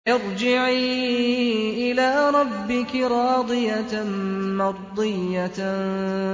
ارْجِعِي إِلَىٰ رَبِّكِ رَاضِيَةً مَّرْضِيَّةً